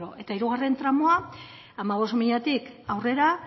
euro eta hirugarren tramoa hamabost milatik aurrera